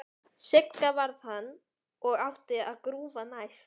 Sigga varð hann og átti að grúfa næst.